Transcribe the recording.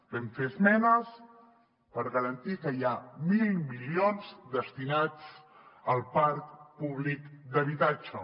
vam fer esmenes per garantir que hi ha mil milions destinats al parc públic d’habitatge